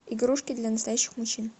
игрушки для настоящих мужчин